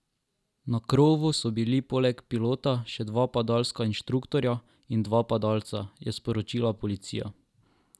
Na krovu so bili poleg pilota še dva padalska inštruktorja in dva padalca, je sporočila policija.